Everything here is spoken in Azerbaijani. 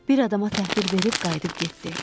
Bir adama təhvil verib qayıdıb getdi.